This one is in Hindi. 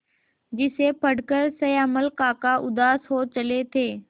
जिसे पढ़कर श्यामल काका उदास हो चले थे